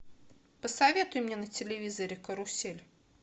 посоветуй мне на телевизоре карусель